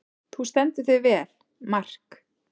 Þú stendur þig vel, Mark!